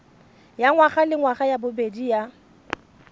ya ngwagalengwaga ya bobedi ya